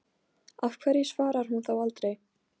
Af hverju svarar hún þá aldrei?